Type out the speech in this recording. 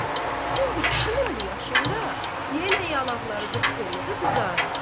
Çünki kişinin bu yaşında yenə yanaqları qıpqırmızı qızarır.